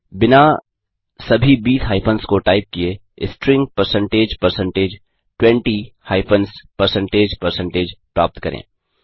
बिना सभी बीस हाइफंस को टाइप किये string percentage percentage 20 hyphens percentage percentage प्राप्त करें